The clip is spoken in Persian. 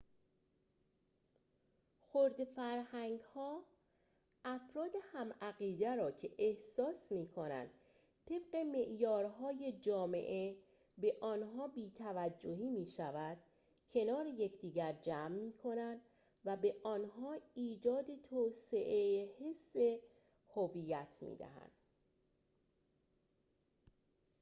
خرده‌فرهنگ‌ها افراد هم‌عقیده را که احساس می‌کنند طبق معیارهای جامعه به آنها بی‌توجهی می‌شود کنار یکدیگر جمع می‌کنند و به آنها ایجاد توسعه حس هویت می‌دهند